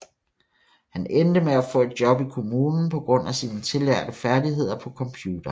Han endte med at få et job i kommunen på grund af sine tillærte færdigheder på computeren